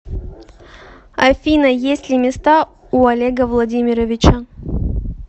афина есть ли места у олега владимировича